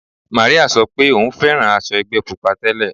Màríà sọ pé òun fẹ́ràn aṣọ ẹgbẹ́ Pupa tẹ́lẹ̀.